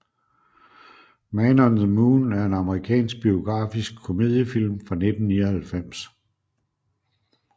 Man on the Moon er en amerikansk biografisk komediefilm fra 1999